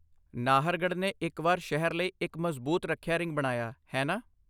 ਨਾਹਰਗੜ੍ਹ ਨੇ ਇੱਕ ਵਾਰ ਸ਼ਹਿਰ ਲਈ ਇੱਕ ਮਜ਼ਬੂਤ ਰੱਖਿਆ ਰਿੰਗ ਬਣਾਇਆ, ਹੈ ਨਾ?